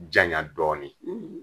Janya dɔɔnin,